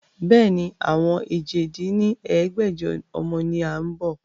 Bẹ́ẹ̀ni, àwọn èje dín ní ẹgbẹ́jọ ọmọ ni a ń bọ́.